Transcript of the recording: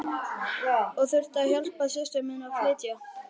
Ég þurfti að hjálpa systur minni að flytja.